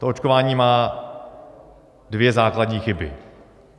To očkování má dvě základní chyby.